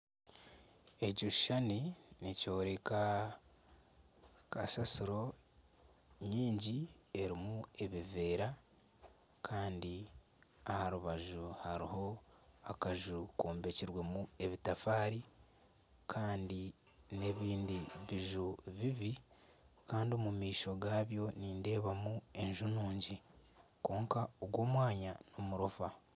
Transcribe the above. Ekishushani nikyoreka kasasiro nyingi erimu obuveera kandi aha rubaju hariho akaju kombekirwemu ebitafaari kandi nana ebindi biju bibi kandi omu maisho gabyo nindeebamu enju nungi kwonka ogu omwanya n'omurofa.